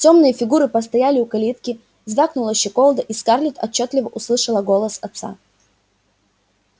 тёмные фигуры постояли у калитки звякнула щеколда и скарлетт отчётливо услышала голос отца